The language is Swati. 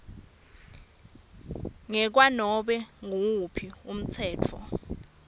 ngekwanobe nguwuphi umtsetfo